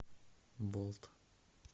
болт